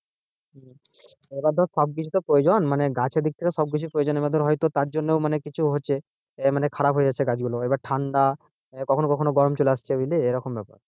এবার ধর সবদিক তো প্রয়োজন গাছের দিক থেকে তো সবকিছুই প্রয়োজন আছে এবার ধর হয়তো তার জন্য মানে কিছু হচ্ছেখারাপ হয়ে যাচ্ছে গাছ গুলো। এবার ঠান্ডা কখনো কখনো গরম চলে আসছে বুঝলি? এরকম ব্যাপার।